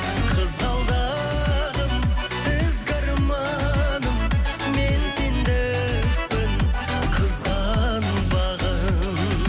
қызғалдым ізгі арманым мен сендікпін қызғанбағын